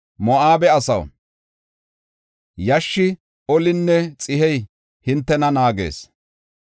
Moo7abe asaw, yashshi, olinne xihey hintena naagees.